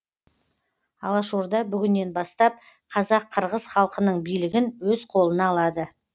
алаш орда бүгіннен бастап қазақ қырғыз халқының билігін өз қолына алады